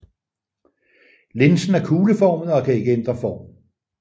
Linsen er kugleformet og kan ikke ændre form